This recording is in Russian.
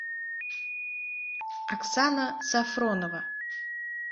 оксана сафронова